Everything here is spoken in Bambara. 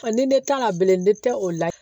ni ne kan ka bilen ne tɛ o la